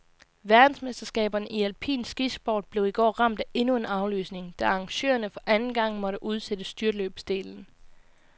Verdensmesterskaberne i alpin skisport blev i går ramt af endnu en aflysning, da arrangørerne for anden gang måtte udsætte styrtløbsdelen.